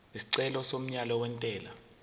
isicelo somyalo wentela